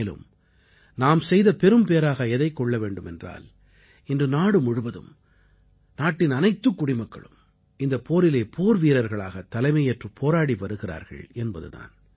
மேலும் நாம் செய்த பெரும்பேறாக எதைக் கொள்ள வேண்டும் என்றால் இன்று நாடு முழுவதும் நாட்டின் அனைத்துக் குடிமக்களும் இந்தப் போரிலே போர்வீரர்களாகத் தலைமையேற்றுப் போராடி வருகிறார்கள் என்பது தான்